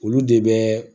Olu de bɛ